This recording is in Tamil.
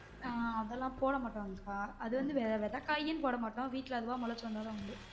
ஆஹ் அதுலா போட மாட்டாங்கக்கா அது வந்து வெதக்காய்னு போட மாட்டோம் வீட்டுல அதுவா முளைச்சி வந்தாதா உண்டு